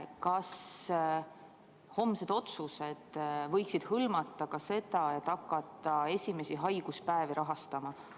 Kas homsed otsused võiksid hõlmata ka seda, et hakata esimesi haiguspäevi rahastama?